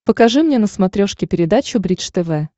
покажи мне на смотрешке передачу бридж тв